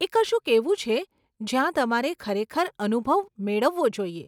એ કશુંક એવું છે, જ્યાં તમારે ખરેખર અનુભવ મેળવવો જોઈએ.